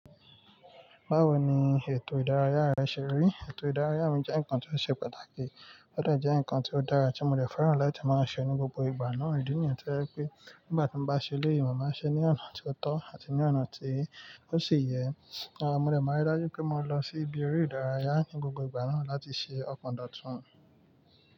Báwo ni ètò ìdárayá rẹ ṣe rí? Ètò ìdárayá mi jẹ́ nǹkan tó ṣe pàtàkì, ó de jẹ́ ǹkan tió dára tí mo dẹ́ fẹ́ràn láti máa ṣe ní gbogbo ìgbà náà ìdí ní yẹn to jẹ pé nígbà tí mo bá ṣe elé yìí màá ma ṣe ní ọ̀nà tió tọ́ àti ní ọ̀nà tí ó ṣi yẹ. Àmọ́ mo dẹ́ máa rí dájú pé mo máa lọ sí ibi eré ìdárayá ní gbogbo ìgbà náà láti ṣe ọkọ̀ǹdọ̀tún.